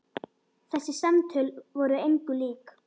Þessi samtöl voru engu lík.